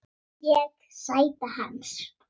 Ég: Sæta hans.